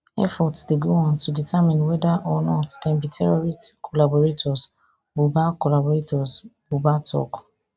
efforts dey go on to determine weda or not dem be terrorist collaborators buba collaborators buba tok